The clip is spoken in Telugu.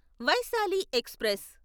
వైశాలి ఎక్స్ప్రెస్